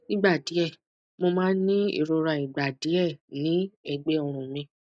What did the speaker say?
nigba die mo ma ni irora igba die ni egbe orun mi